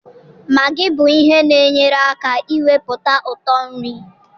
Maggi bụ ihe na-enyere aka iwepụta ụtọ nri.